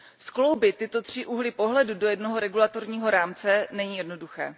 Skloubit tyto tři úhly pohledu do jednoho regulačního rámce není jednoduché.